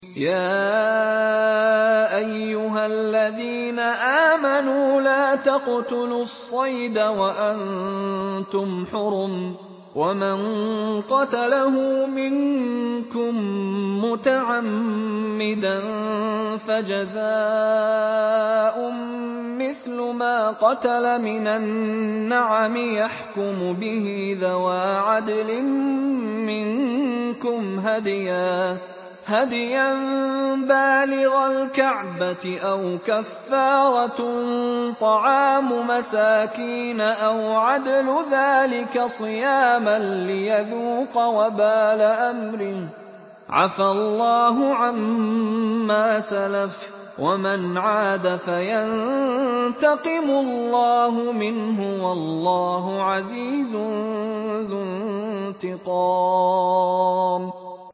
يَا أَيُّهَا الَّذِينَ آمَنُوا لَا تَقْتُلُوا الصَّيْدَ وَأَنتُمْ حُرُمٌ ۚ وَمَن قَتَلَهُ مِنكُم مُّتَعَمِّدًا فَجَزَاءٌ مِّثْلُ مَا قَتَلَ مِنَ النَّعَمِ يَحْكُمُ بِهِ ذَوَا عَدْلٍ مِّنكُمْ هَدْيًا بَالِغَ الْكَعْبَةِ أَوْ كَفَّارَةٌ طَعَامُ مَسَاكِينَ أَوْ عَدْلُ ذَٰلِكَ صِيَامًا لِّيَذُوقَ وَبَالَ أَمْرِهِ ۗ عَفَا اللَّهُ عَمَّا سَلَفَ ۚ وَمَنْ عَادَ فَيَنتَقِمُ اللَّهُ مِنْهُ ۗ وَاللَّهُ عَزِيزٌ ذُو انتِقَامٍ